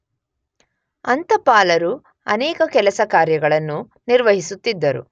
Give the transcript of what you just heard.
ಅಂತಪಾಲರು ಅನೇಕ ಕೆಲಸ ಕಾರ್ಯಗಳನ್ನು ನಿರ್ವಹಿಸುತ್ತಿದ್ದರು.